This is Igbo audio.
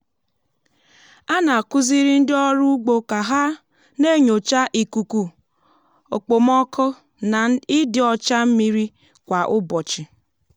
a na-akụziri ndị ọrụ ugbo ka ha na-enyocha ikuku okpomọkụ na ịdị ọcha mmiri kwa ụbọchị.